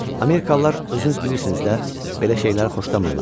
Amerikalılar özünüz bilirsiniz də, belə şeyləri xoşlamırlar.